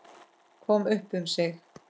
Kom upp um sig.